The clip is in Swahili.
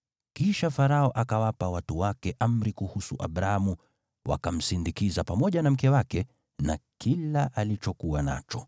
Kisha Farao akawapa watu wake amri kuhusu Abramu, wakamsindikiza pamoja na mke wake na kila alichokuwa nacho.